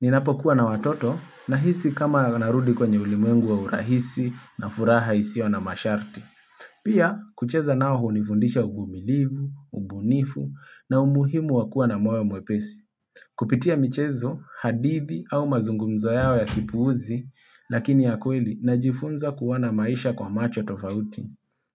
Ninapo kuwa na watoto, nahisi kama narudi kwenye ulimwengu wa urahisi, na furaha isio na masharti. Pia, kucheza nao hunifundisha uvumilivu, ubunifu, na umuhimu wa kuwa na moyo mwepesi. Kupitia michezo, hadithi au mazungumzo yao ya kipuuzi, lakini ya kweli najifunza kuona maisha kwa macho tofauti.